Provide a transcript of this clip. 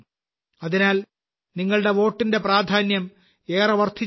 അതിനാൽ നിങ്ങളുടെ വോട്ടിന്റെ പ്രാധാന്യം ഏറെ വർദ്ധിച്ചിരിക്കുന്നു